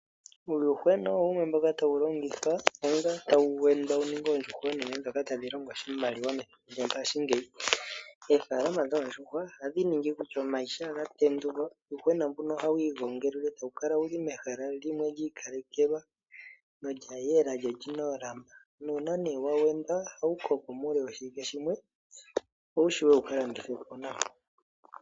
Uuyuhwena owo wumwe mboka tawu longithwa, onga tawu wendwa opo wu ninge oondjuhwa oonene ndhoka tadhi longo oshimaliwa nayi methimbo lyongashingeyi. Oofalama dhoondjuhwa ohadhi ningi kutya omayi shaa ga tendulwa, uuyuhwena mbuno ohawu igongelelwa e tawu kala wu li mehala limwe li ikalekelwa lyo olya yela, lyo oli na oolamba. Nuunaa nee wa wendwa, ohawu koko muule woshiwike shimwe, opo wu wape wu ka landithwe po nawa.